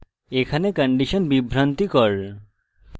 এখানে condition বিভ্রান্তিকর